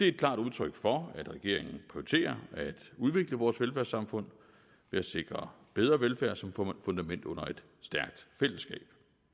et klart udtryk for at regeringen prioriterer at udvikle vores velfærdssamfund ved at sikre bedre velfærd som fundament under et stærkt fællesskab